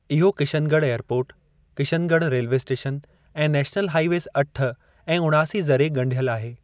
इहो Kishangarh airport, Kishangarh railway station ऐं national highways अठ ऐं उणासी ज़रिए ॻंढियल आहे।